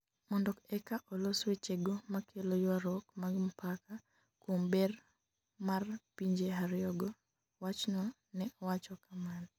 mondo eka olos wechego makelo ywaruok mag mpaka kuom ber mar pinje ariyo go'',wachno ne wacho kamano